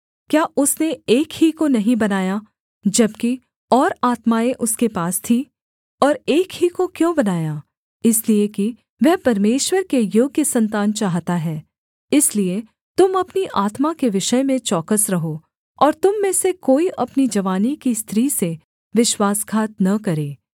क्या उसने एक ही को नहीं बनाया जबकि और आत्माएँ उसके पास थीं और एक ही को क्यों बनाया इसलिए कि वह परमेश्वर के योग्य सन्तान चाहता है इसलिए तुम अपनी आत्मा के विषय में चौकस रहो और तुम में से कोई अपनी जवानी की स्त्री से विश्वासघात न करे